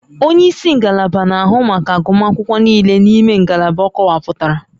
Onye isi ngalaba na-ahụ maka agụmakwụkwọ niile n'ime ngalaba akọwapụtara